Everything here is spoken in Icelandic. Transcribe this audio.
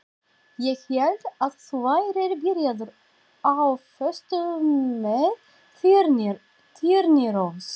Ég hélt að þú værir byrjaður á föstu með Þyrnirós.